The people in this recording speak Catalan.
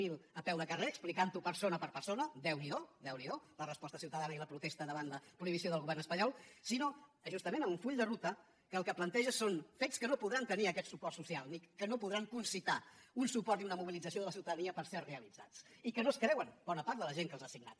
zero a peu de carrer explicant ho persona per persona déu n’hi do la resposta ciutadana i la protesta davant la prohibició del govern espanyol sinó justament amb un full de ruta que el que planteja són fets que no podran tenir aquest suport social que no podran concitar un suport i una mobilització de la ciutadania per ser realitzats i que no es creuen bona part de la gent que els han signat